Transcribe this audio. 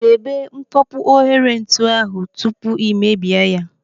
Debe mkpopu ohere ntu ahụ tupu ị mebie ya.